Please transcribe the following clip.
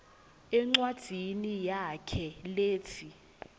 encwadzini yakhe letsi